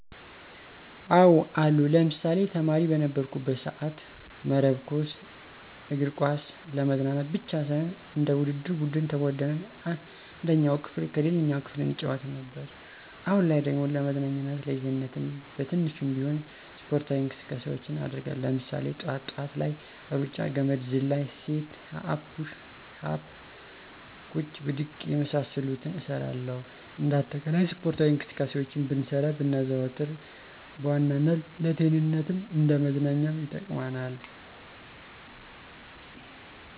አዎ አሉ። ለምሳሌ፦ ተማሪ በነበርኩበት ሰአት መረብ ኳስ፣ እግር ኳስ ለመዝናናት ብቻ ሳይሆን እንደ ውድድር ቡድን ተቧድነን አንደኛው ክፍል ከሌላኛው ክፍል እንጫወት ነበር። አሁን ላይ ደግሞ ለመዝናኛም ለጤንነትም በትንሹም ቢሆን ስፖርታዊ እንቅስቃሴውችን አደርጋለው። ለምሳሌ፦ ጥዋት ጥዋት ላይ ሩጫ፣ ገመድ ዝላይ፣ ሴት አፕ፣ ኩሽ አፕ፣ ቁጭ ብድግ የመሳሰሉትን እሰራለሁኝ። እንደ አጠቃላይ ስፖርታዊ እንቅስቃሴውችን ብንሰራ ብናዘወትር በዋናነት ለጤንነትም እንደ መዝናኛም ይጠቅመናል።